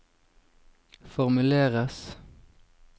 formuleres